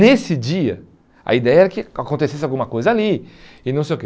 Nesse dia, a ideia era que acontecesse alguma coisa ali, e não sei o quê.